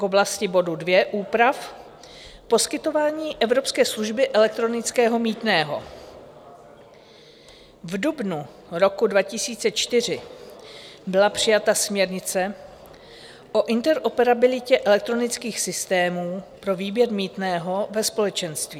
K oblasti bodu 2 úprav, poskytování evropské služby elektronického mýtného: v dubnu roku 2004 byla přijata směrnice o interoperabilitě elektronických systémů pro výběr mýtného ve společenství.